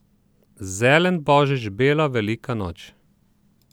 Zelen božič, bela velika noč.